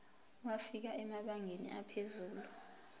wafika emabangeni aphezulu